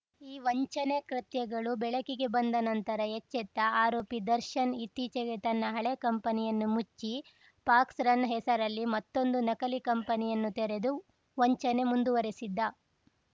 ಈ ವಂಚನೆ ಕೃತ್ಯಗಳು ಬೆಳಕಿಗೆ ಬಂದ ನಂತರ ಎಚ್ಚೆತ್ತ ಆರೋಪಿ ದರ್ಶನ್‌ ಇತ್ತೀಚಿಗೆ ತನ್ನ ಹಳೇ ಕಂಪನಿಯನ್ನು ಮುಚ್ಚಿ ಫಾಕ್ಸ್‌ ರನ್‌ ಹೆಸರಿನಲ್ಲಿ ಮತ್ತೊಂದು ನಕಲಿ ಕಂಪನಿಯನ್ನು ತೆರೆದು ವಂಚನೆ ಮುಂದುವರೆಸಿದ್ದ